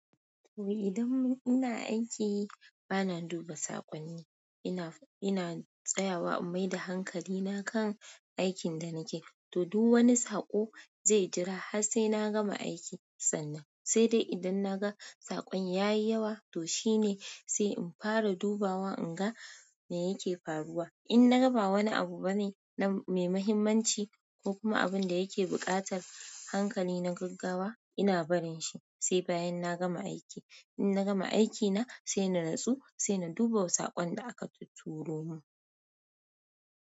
To idan ina aiki, bana duba saƙonni. Ina, ina tsayawa in mai da hankali na kan aikin da nake. To, duk wani saƙo zai jira har sai na gama aiki sannan. Sai dai idan naga saƙon yayi yawa toh shine sai infara dubawa inga me yake faruwa. In na ga ba wani abu bane na mai muhimmanci ko kuma abin da yake buƙatar hankali na gaggawa, ina barin shi sai bayan na gama aiki. In na gama aikina sai na nutsu, sai na duba wasu saƙon da aka tutturo mun.